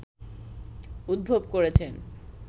উদ্ভব করেছেন